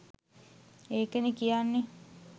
ඒකනේ කියන්නෙ